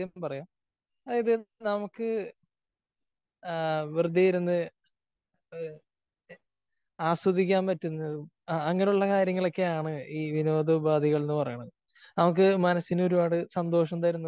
ഞാൻ ആദ്യം പറയാം. അതായത് നമുക്ക് ആ വെറുതെ ഇരുന്ന് ആസ്വദിക്കാൻ പറ്റുന്നതും അങ്ങനെയുള്ള കാര്യങ്ങളൊക്കെയാണ് ഈ വിനോദ ഉപാധികൾ എന്ന് പറയുന്നത്. നമുക്ക് മനസ്സിന് ഒരുപാട് സന്തോഷം തരുന്നതും